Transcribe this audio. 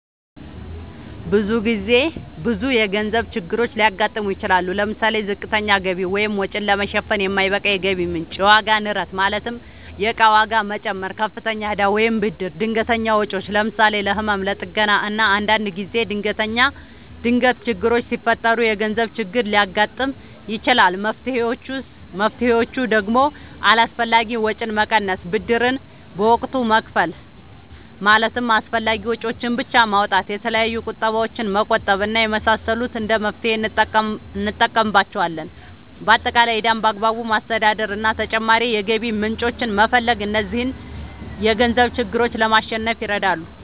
ብዙ የገንዘብ ችግሮች ሊያጋጥሙ ይችላሉ። ለምሳሌ፦ ዝቅተኛ ገቢ(ወጪን ለመሸፈን የማይበቃ የገቢ ምንጭ) ፣የዋጋ ንረት ማለትም የእቃ ዋጋ መጨመር፣ ከፍተኛ እዳ ወይም ብድር፣ ድንገተኛ ወጪዎች ለምሳሌ፦ ለህመም፣ ለጥገና እና አንዳንድ ጊዜ ድንገት ችግሮች ሲፈጠሩ የገንዘብ ችግር ሊያጋጥም ይችላል። መፍትሔዎቹ ደግሞ አላስፈላጊ ወጪን መቀነስ፣ ብድርን በወቅቱ መክፈል ማለትም አስፈላጊ ወጪዎችን ብቻ ማውጣት፣ የተለያዩ ቁጠባዎችን መቆጠብ እና የመሳሰሉት እንደ መፍትሔ እንጠቀምባቸዋለን። በአጠቃላይ ዕዳን በአግባቡ ማስተዳደር እና ተጨማሪ የገቢ ምንጮችን መፈለግ እነዚህን የገንዘብ ችግሮች ለማሸነፍ ይረዳሉ።